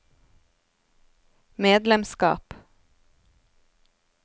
medlemskap